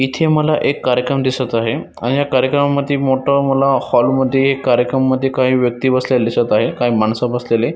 इथे मला एक कार्यक्रम दिसत आहे अण या कार्यक्रमा मध्ये मोठ हाॅल मध्ये कार्यक्रम मध्ये काही व्यक्ती इथ दिसत आहे काही माणस बसलेले--